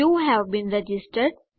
you have been registered